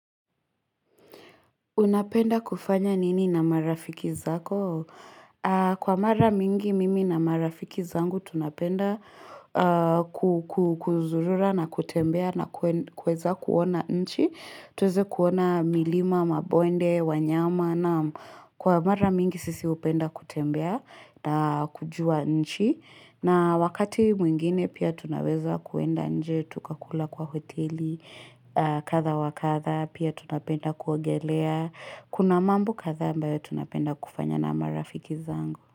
Unapenda kufanya nini na marafiki zako? Kwa mara mingi mimi na marafiki zangu tunapenda kuzurura na kutembea na kueza kuona nchi. Tuweze kuona milima, mabonde, wanyama na kwa mara mingi sisi upenda kutembea na kujua nchi. Na wakati mwingine pia tunaweza kuenda nje, tukakula kwa hoteli, katha wakatha, pia tunapenda kuogelea, kuna mambo kathaa ambayo tunapenda kufanya na marafiki zangu.